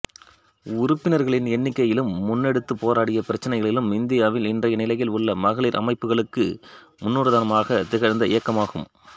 உறுப்பினர்களின் எண்ணிக்கையிலும் முன்னெடுத்துப் போராடிய பிரச்சனைகளிலும் இந்தியாவில் இன்றைய நிலையில் உள்ள மகளிர் அமைப்புகளுக்கு முன்னுதாரணமாகத் திகழ்ந்த இயக்கமாகும்